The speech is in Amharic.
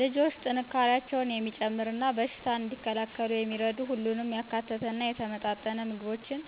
ልጆች ጥንካሬያቸውን የሚጨምር እና በሽታን እንዲከላከሉ የሚረዱ ሁሉንም ያካተተ እና የተመጣጠነ ምግቦችን